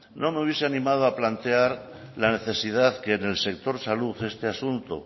no me hubiese animado a plantear la necesidad que en el sector salud este asunto